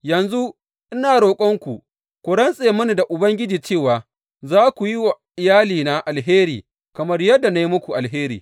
Yanzu ina roƙonku ku rantse mini da Ubangiji cewa za ku yi wa iyalina alheri kamar yadda na yi muku alheri.